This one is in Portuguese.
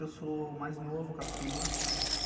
Eu sou o mais novo, o Caçula.